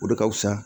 O de ka fusa